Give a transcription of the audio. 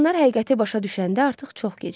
Siçanlar həqiqəti başa düşəndə artıq çox gec idi.